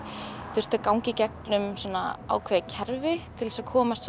þurftu að ganga í gegnum ákveðið kerfi til að komast